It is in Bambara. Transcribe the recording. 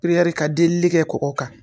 ka delili kɛ kɔgɔ kan.